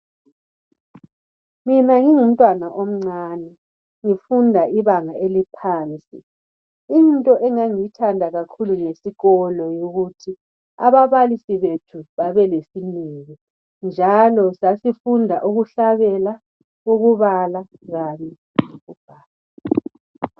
Mina ngingumntwana omncani ngifunda ibanga eliphansi into engangiyithanda kakhulu ngesikolo yikuthi ababalisi bethu babelesineke njalo sasifunda ukuhlabela, ukubala kanye lokubhala.